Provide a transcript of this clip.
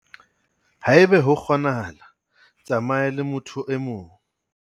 Haeba ho kgonahala, tsamaya le motho e mong.